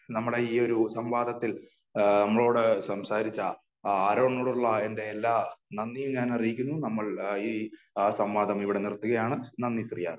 നമ്മുടെ ഈ ഒരു സംവാദത്തിൽ ആ നമ്മളോട് സംസാരിച്ച ആരോണിനോടുള്ള എന്റെ എല്ലാ നന്ദിയും ഞാൻ അറിയിക്കുന്നു. നമ്മൾ ഈ സംവാദം ഇവിടെ നിർത്തുകയാണ് . നന്ദി ശ്രീ ആരോൺ .